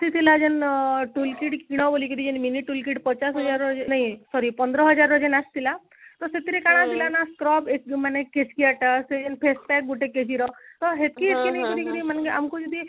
ଆସିଥିଲା ନା tool kit କିଣିବ ବୋଲିକିରି mini tool kit ପଚାଶ ହଜାର ନାଇ sorry ପନ୍ଦର ହଜାରର ଯେଇନେ ଆସିଥିଲା ତ ସେଇଥିରେ କଣ ଥିଲା ନା scrub facial face pack ଗୋଟେ KG ର କରି କରି ମାନେ ଆମକୁ ଯଦି